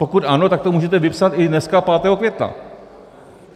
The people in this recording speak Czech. Pokud ano, tak to můžete vypsat i dneska, 5. května.